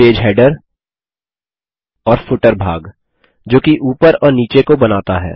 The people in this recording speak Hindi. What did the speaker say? पेज हेडर और फूटर भाग जो कि ऊपर और नीचे को बनाता है